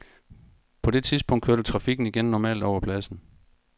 På det tidspunkt kørte trafikken igen normalt over pladsen.